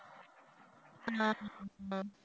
ஆஹ்